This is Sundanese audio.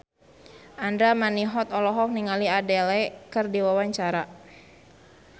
Andra Manihot olohok ningali Adele keur diwawancara